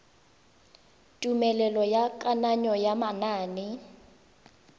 tumelelo ya kananyo ya manane